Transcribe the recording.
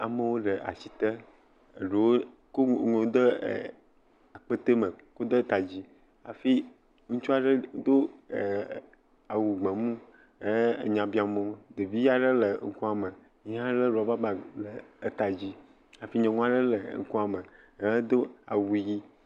Amewo le ati te. Eɖewo ko enuwo de akpete me ɖe eta dzi hafi ŋutsu aɖe do awu gbemu he nya biam wo. Ɖevi aɖe le ŋkuame, ye hã lé rɔba bag ɖe eta dzi hafi nyɔnu aɖe le ŋkuame, ye hã do awu ʋɛ̃.